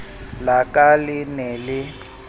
la ka le ne le